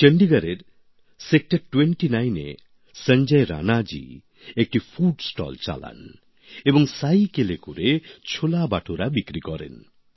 এই চণ্ডীগড়ের সেক্টর ২৯ এ সঞ্জয় রাণাজি একটি ফুড স্টল চালান এবং সাইকেলে করে ছোলা বাটোরা বিক্রি করেন